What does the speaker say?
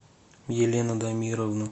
елену дамировну